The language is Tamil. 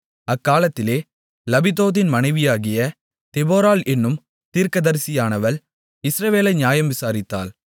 அக்காலத்திலே லபிதோத்தின் மனைவியாகிய தெபொராள் என்னும் தீர்க்கதரிசியானவள் இஸ்ரவேலை நியாயம் விசாரித்தாள்